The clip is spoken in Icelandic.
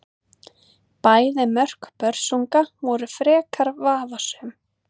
Bæði mörk Börsunga voru frekar vafasöm.